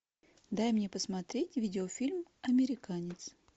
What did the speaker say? дай мне посмотреть видео фильм американец